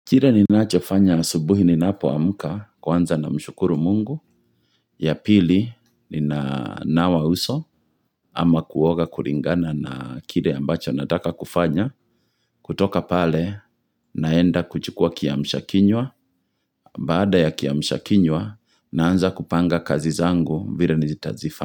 Kire ninacho fanya asubuhi ninapo amka kwanza namshukuru mungu ya pili ninanawa uso ama kuoga kuringana na kire ambacho nataka kufanya. Kutoka pale naenda kuchukua kiamshakinywa baada ya kiamshakinywa naanza kupanga kazi zangu vile nizitazifa.